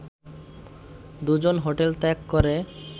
দু’জন hotel ত্যাগ করে